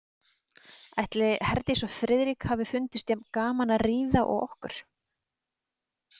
Ætli Herdísi og Friðrik hafi fundist jafn gaman að ríða og okkur?